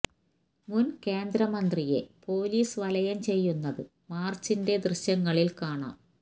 മുന് കേന്ദ്ര മന്ത്രിയെ പോലീസ് വലയം ചെയ്യുന്നത് മാര്ച്ചിന്റെ ദൃശ്യങ്ങളില് കാണാം